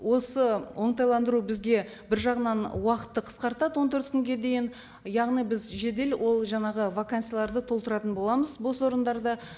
осы оңтайландыру бізге бір жағынан уақытты қысқартады он төрт күнге дейін яғни біз жедел ол жаңағы вакансияларды толтыратын боламыз бос орындарды